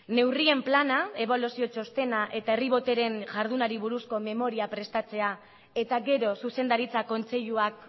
neurrien plana ebaluazio txostena eta herri botereen jardunari buruzko memoria prestatzea eta gero zuzendaritza kontseiluak